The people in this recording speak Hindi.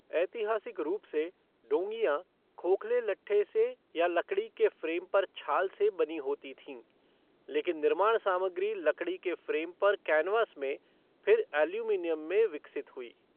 ऐतिहासिक रूप से, डोंगियाँ खोखले लट्ठे से या लकड़ी के फ़्रेम पर छाल से बनी होती थीं, लेकिन निर्माण सामग्री लकड़ी के फ्रेम पर कैनवास में, फिर एल्यूमीनियम में विकसित हुई।